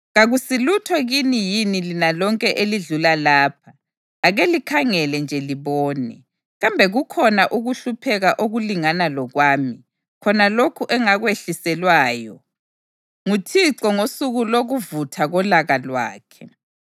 “Kakusilutho kini yini lina lonke elidlula lapha? Ake likhangele nje libone. Kambe kukhona ukuhlupheka okulingana lokwami, khona lokhu engakwehliselwayo, nguThixo ngosuku lokuvutha kolaka lwakhe?